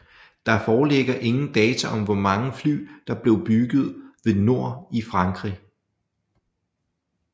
Der foreligger ingen data om hvormange fly der blev bygget ved Nord i Frankrig